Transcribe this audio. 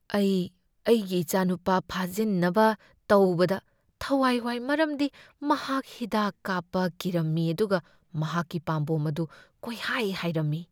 ꯑꯩ ꯑꯩꯒꯤ ꯏꯆꯥꯅꯨꯄꯥ ꯐꯥꯖꯤꯟꯅꯕ ꯇꯧꯕꯗ ꯊꯋꯥꯏ ꯋꯥꯏ ꯃꯔꯝꯗꯤ ꯃꯍꯥꯛ ꯍꯤꯗꯥꯛ ꯀꯥꯞꯄ ꯀꯤꯔꯝꯃꯤ ꯑꯗꯨꯒ ꯃꯍꯥꯛꯀꯤ ꯄꯥꯝꯕꯣꯝ ꯑꯗꯨ ꯀꯣꯏꯍꯥꯏ ꯍꯥꯏꯔꯝꯃꯤ꯫